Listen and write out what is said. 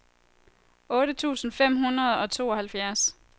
otte tusind fem hundrede og tooghalvfjerds